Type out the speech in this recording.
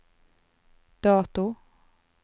dato